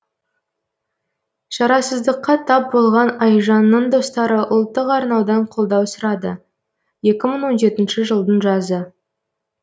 шарасыздыққа тап болған айжанның достары ұлттық арнадан қолдау сұрады екі мың он жетінші жылдың жазы